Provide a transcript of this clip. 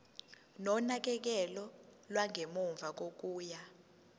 nonakekelo lwangemuva kokuya